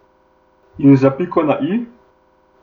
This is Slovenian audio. In za piko na i?